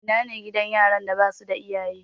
Ina ne gidan yaran da ba su da iyaye?